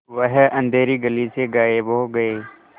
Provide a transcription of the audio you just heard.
वह अँधेरी गली से गायब हो गए